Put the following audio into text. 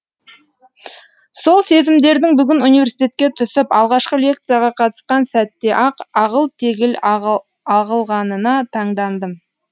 сол сезімдердің бүгін университетке түсіп алғашқы лекцияға қатысқан сәтте ақ ағыл тегіл ағылғанына таңдандым